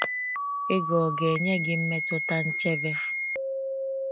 Ego ọ ga-enye gị mmetụta nchebe?